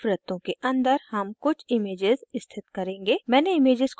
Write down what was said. इन वृत्तों के अंदर हम कुछ images स्थित करेंगे